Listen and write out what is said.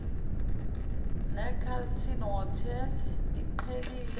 necarlton hotel iqhelile